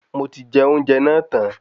Moti je ounjẹ náà tan